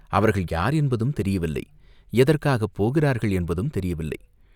அவர்கள் யார் என்பதும் தெரியவில்லை, எதற்காகப் போகிறார்கள் என்பதும் தெரியவில்லை.